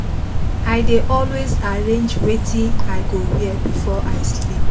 i dey always arrange wetin i go wear before i sleep